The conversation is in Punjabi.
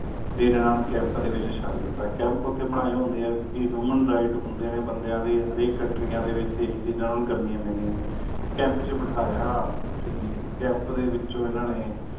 ਤੇਰੇ ਨਾਲੋਂ camp ਦੇ ਵਿੱਚ ਛੱਡ ਦਿੱਤਾ ਕਿ camp ਹੋਂਦੇ ਨੇ ਕਿਉ ਕ human rights ਹੋਂਦੇ ਨੇ ਬੰਦਿਆਂ ਦੇ ਹਰ ਕੌਂਟਰੀਆਂ ਦੇ ਜਾਂਦਓ ਕਰਨੀ ਪਾਯਾ camp ਚ ਬਿਠਾਇਆ ਤੇ camp ਤੋਂ ਵਿੱਚੋ ਇਨ੍ਹਾਂ ਨੇ